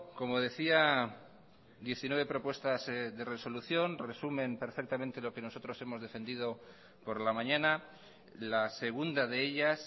como decía diecinueve propuestas de resolución resumen perfectamente lo que nosotros hemos defendido por la mañana la segunda de ellas